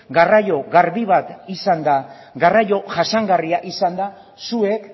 garraio garbi bat izanda garraio jasangarria izanda zuek